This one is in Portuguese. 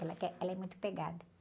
Ela quer, ela é muito pegada.